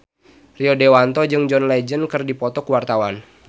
Rio Dewanto jeung John Legend keur dipoto ku wartawan